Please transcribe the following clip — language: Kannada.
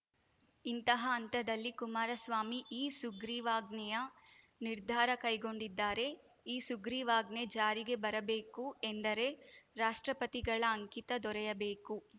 ಇಂತಹ ಹಂತದಲ್ಲಿ ಕುಮಾರಸ್ವಾಮಿ ಈ ಸುಗ್ರೀವಾಜ್ಞೆಯ ನಿರ್ಧಾರ ಕೈಗೊಂಡಿದ್ದಾರೆ ಈ ಸುಗ್ರೀವಾಜ್ಞೆ ಜಾರಿಗೆ ಬರಬೇಕು ಎಂದರೆ ರಾಷ್ಟ್ರಪತಿಗಳ ಅಂಕಿತ ದೊರೆಯಬೇಕು